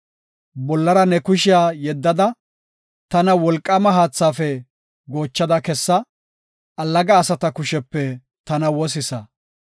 Bollara ne kushiya yeddada, tana wolqaama haathaafe goochada kessa; allaga asata kushepe tana wosisa.